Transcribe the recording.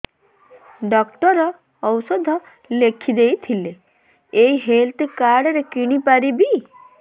doctor ଔଷଧ ଲେଖିଦେଇଥିଲେ ଏଇ ହେଲ୍ଥ କାର୍ଡ ରେ କିଣିପାରିବି